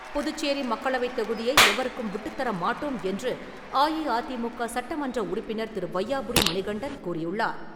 புதுச்சேரி மக்களவைத் தொகுதியை எவருக்கும் விட்டுத்தர மாட்டோம் என்று அஇஅதிமுக சட்டமன்ற உறுப்பினர் திரு. வையாபுரி மணிகண்டன் கூறியுள்ளார்.